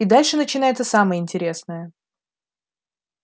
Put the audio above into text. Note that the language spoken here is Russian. и дальше начинается самое интересное